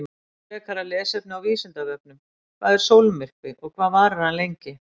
Frekara lesefni á Vísindavefnum: Hvað er sólmyrkvi og hvað varir hann lengi?